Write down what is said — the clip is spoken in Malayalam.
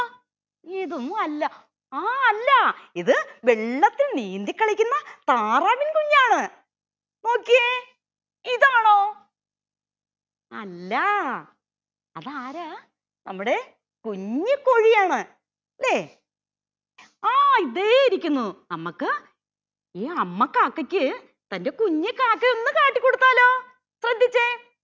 ആ ദേ ഇരിക്കുന്നു അമ്മക്ക് ഈ അമ്മ കാക്കയ്ക്ക് തന്റെ കുഞ്ഞു കാക്കയെ ഒന്നു കാട്ടികൊടുത്താലോ ശ്രദ്ധിച്ചേ